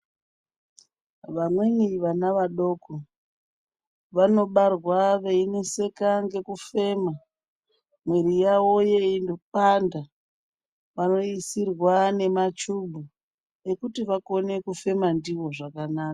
Vamweni vana vadoko vanobarwa veineseka ngekufema mwiri yavo yeipanda vanoisirwa nemachubhu ekuti bakone kufema ndiwo zvakanaka.